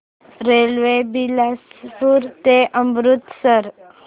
railway Bilaspur ते अमृतसर